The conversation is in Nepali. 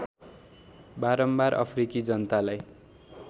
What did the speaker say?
बारम्बार अफ्रिकी जनतालाई